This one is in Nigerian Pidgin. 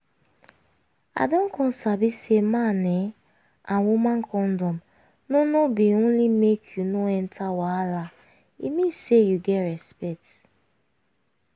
i don come sabi say man[um]and woman condom no no be only make you no enter wahala e mean say you get respect